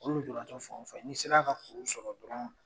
O lujuratɔ fan ofan n' i sera ka kuru sɔrɔ dɔrɔn